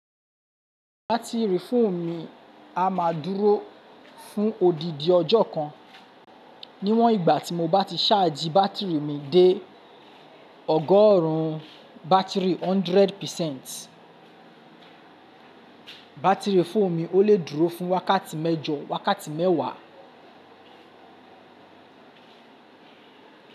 Batiri fóònù mi a máa dúró fún odidi ọjọ́ kan. Niwọn igba ti mo ba ti charge batiri mi de ọgọrun batiri 100 percent. Batiri fóònù mi ó lè dúró fún wákàtí mẹ́jọ, wákàtí mẹ́wàá.